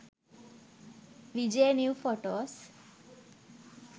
vijay new photos